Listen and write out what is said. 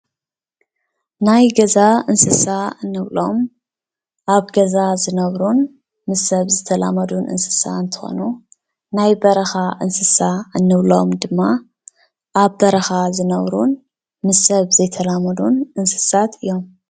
ናይ ገዛ እንስሳ እንብሎም አብ ገዛ ዝነብሩን ምስ ሰብ ዝተላመዱን እንስሳ እንትኮኑ ናይ በረኻ እንስሳ እንብሎም ድማ ኣብ በረኻ ዝነብሩን ምስ ሰብ ዘይተላመዱን እንስሳት ዮም ።